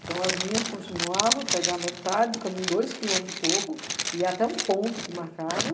Então, as minhas continuavam a pegar a metade do caminho, dois quilômetros e pouco, ia até um ponto que marcaram,